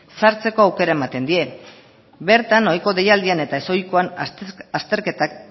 sartzeko aukera ematen die bertan ohiko deialdian eta ezohikoan azterketak